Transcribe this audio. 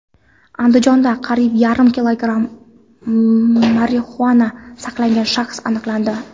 Andijonda qariyb yarim kilogramm marixuana saqlagan shaxs aniqlandi.